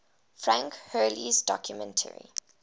frank hurley's documentary